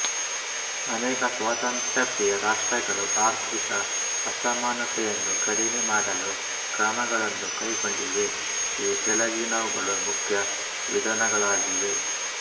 ಅನೇಕ ಸ್ವಾತಂತ್ರ್ಯ ಪ್ರೀಯ ರಾಷ್ಟ್ರಗಳು ಆರ್ಥಿಕ ಅಸಮಾನತೆಯನ್ನು ಕಡಿಮೆ ಮಾಡಲು ಕ್ರಮಗಳನ್ನು ಕೈಕೊಂಡಿವೆ ಈ ಕೆಳಗಿನವುಗಳು ಮುಖ್ಯ ವಿಧಾನಗಳಾಗಿವೆ